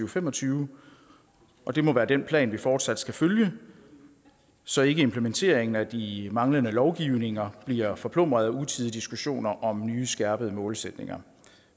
og fem og tyve og det må være den plan vi fortsat skal følge så ikke implementeringen af de manglende lovgivninger bliver forplumret af utidige diskussioner om nye skærpede målsætninger